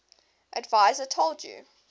adviser told u